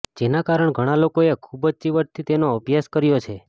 જેના કારણ ઘણા લોકોએ ખૂબ જ ચીવટથી તેનો અભ્યાસ કર્યો છે